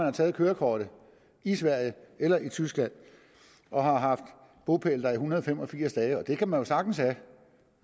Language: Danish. har taget kørekortet i sverige eller i tyskland og har haft bopæl der i en hundrede og fem og firs dage og det kan man jo sagtens have